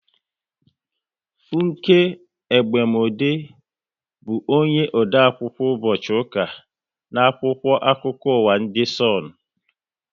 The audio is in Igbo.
Funke Egbemode bụ onye ode akwụkwọ ụbọchị ụka n' akwụkwọ akụkọ ụwa ndị Sonu